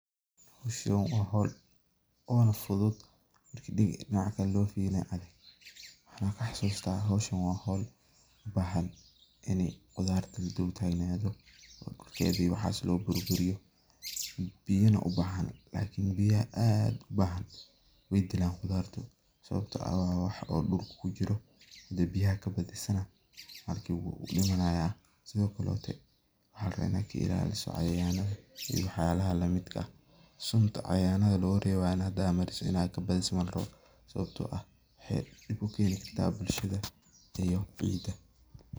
Sidan waa howl ona fudud hadi dinaca kalena loo firiyo adag, waxana kahasusta hwoshan waa howl adag oo biyana u bahan oo howshan waa arin hadi biyaha kabadiso oo cayayada kailaliso oo sunta cayayanada inaad kabadisidna maaha sababto ah waxey dib u keni karta bulshada iyo cidaa.